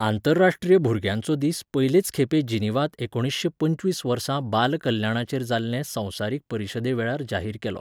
आंतरराश्ट्रीय भुरग्यांचो दीस पयलेच खेपे जिनिव्हांत एकुणिशें पंचवीस वर्सा बाल कल्याणाचेर जाल्ले संवसारीक परिशदे वेळार जाहीर केलो.